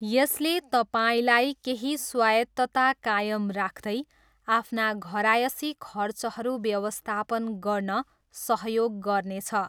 यसले तपाईँलाई केही स्वायत्तता कायम राख्दै आफ्ना घरायसी खर्चहरू व्यवस्थापन गर्न सहयोग गर्नेछ।